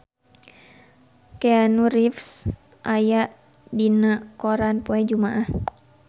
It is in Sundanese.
Keanu Reeves aya dina koran poe Jumaah